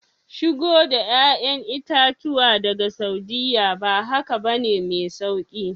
Shigo da 'ya'yan itatuwa daga Saudiyya, ba haka ba ne mai sauki